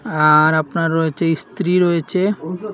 আর আপনার রয়েছে ইস্ত্রি রয়েছে।